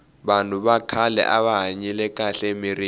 vanhu va khale ava hanyile kahle emirini